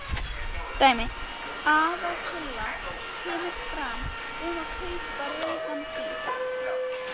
Dæmi: Aðaltillaga kemur fram um að kaupa rauðan bíl.